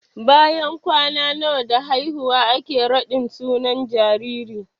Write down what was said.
Bayan kwana nawa da haihuwa ake raɗin sunan jariri?